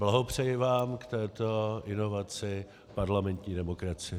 Blahopřeji vám k této inovaci parlamentní demokracie!